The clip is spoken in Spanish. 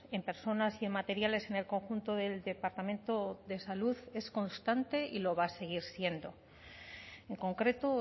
en personas y en materiales en el conjunto del departamento de salud es constante y lo va a seguir siendo en concreto